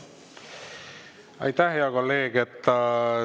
Aitäh, hea kolleeg!